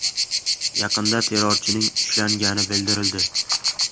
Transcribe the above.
Yaqinda terrorchining ushlangani bildirildi .